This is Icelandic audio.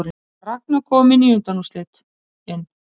Ragna komin í undanúrslitin